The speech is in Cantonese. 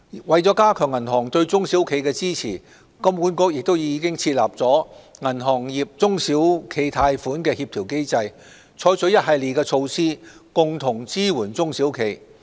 為加強銀行對中小企的支持，金管局已設立銀行業中小企貸款協調機制，採取一系列措施，共同支援中小企。